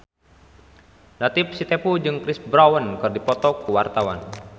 Latief Sitepu jeung Chris Brown keur dipoto ku wartawan